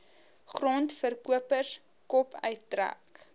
grondverkopers kop uittrek